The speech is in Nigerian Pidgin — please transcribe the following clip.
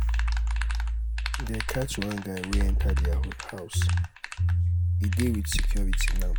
dey catch one guy wey enter their house. he dey with security now.